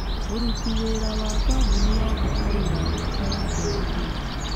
Mũruti wĩra wa kambuni yakwa arĩ na namba yake ya thimũ